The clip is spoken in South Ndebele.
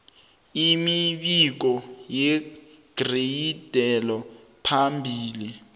imibiko yeragelo phambili